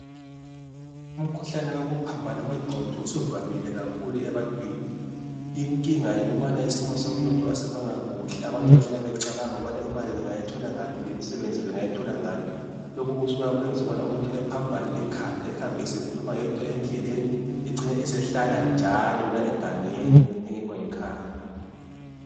Umkhuhlane wokuphambana kwengqondo usuvamile kakhulu ebantwini. Inkinga yikubana isimo somnotho kasimanga kuhle, abantu bahlala becabanga ukubana imali bengayitholangaphi, lemsebenzi bengayithola ngaphi. Lokhu kusuka kwenze ukubana umuntu ephambane ikhanda ehambe esekhuluma yedwa endleleni, ecine esehlala njalo egangeni engekho ekhaya.